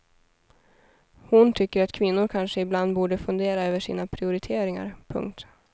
Hon tycker att kvinnor kanske ibland borde fundera över sina prioriteringar. punkt